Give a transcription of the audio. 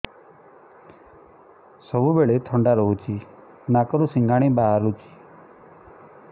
ସବୁବେଳେ ଥଣ୍ଡା ରହୁଛି ନାକରୁ ସିଙ୍ଗାଣି ବାହାରୁଚି